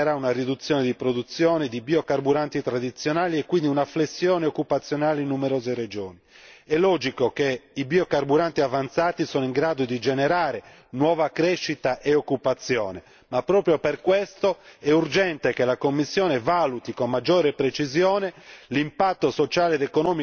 La proposta in discussione determinerà una riduzione di produzione di biocarburanti tradizionali e quindi una flessione occupazionale in numerose regioni. È logico che i biocarburanti avanzati sono in grado di generare nuova crescita e occupazione, ma proprio per questo è urgente che la Commissione valuti con maggiore precisione